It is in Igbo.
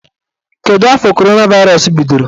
Kedụ afọ coronavirus bidoro?